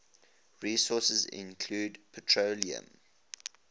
resources include petroleum